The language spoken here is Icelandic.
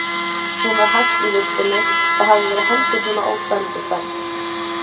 Hún var hætt í vistinni, það hafði verið heldur svona óspennandi starfi.